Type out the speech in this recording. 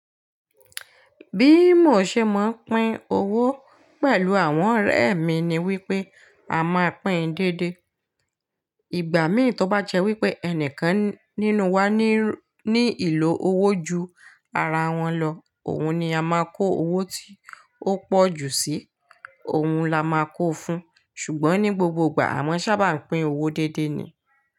Bí mo ṣe máa ń pín owó pẹ̀lú àwọn ọ̀rẹ́ mi ni wípé a máa pín déédé. Ìgbà mí ì tó bá jẹ́ wípé ẹnìkan nínú wa ní, ní ìlò owó ju ara wọn lọ, òun ni a máa kó owó tí ó pọ̀ jù sí, òun la máa kó fún. Ṣùgbọ́n ní gbogbo ìgbà, à mọ́ sábà ń pín owó déédé ni.